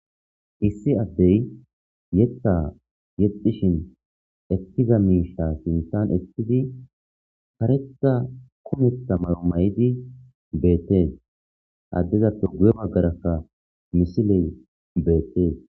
issi addey yetta yexxishin ekkiza miisha sinthan eqidi karetta kumetha mayo mayidi beettee, he addeza guye bagarakka misiley beettees